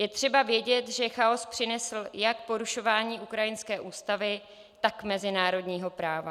Je třeba vědět, že chaos přinesl jak porušování ukrajinské ústavy, tak mezinárodního práva.